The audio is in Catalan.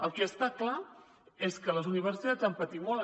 el que està clar és que les universitats ja han patit molt